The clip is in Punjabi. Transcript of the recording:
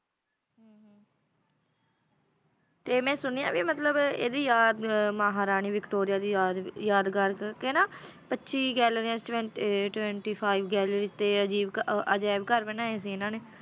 ਤੇ ਮੈਂ ਸੁਣਿਆ ਵੀ ਮਤਲਬ ਇਹਦੀ ਯਾਦ ਮਹਾਰਾਣੀ ਵਿਕਟੋਰੀਆ ਦੀ ਯਾਦ ਯਾਦਗਾਰ ਕਰਕੇ ਨਾ ਪੱਚੀ ਗੈਲਰੀਆਂ twent~ uh twenty five gallery ਤੇ ਅਜ਼ੀਬ ਘ~ ਅਹ ਅਜ਼ਾਇਬ ਘਰ ਬਣਾਏ ਸੀ ਇਹਨਾਂ ਨੇ।